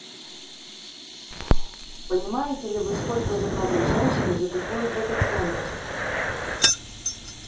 понимаете ли вы сколько заплатят женщины за такую драгоценность